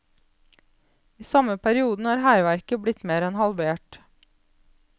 I samme perioden er hærverket blitt mer enn halvert.